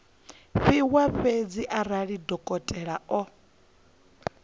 fhiwa fhedzi arali dokotela o